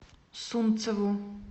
сунцову